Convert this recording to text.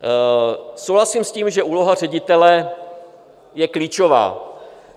Souhlasím s tím, že úloha ředitele je klíčová.